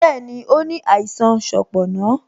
Bẹẹni, ó ní àìsàn sanponna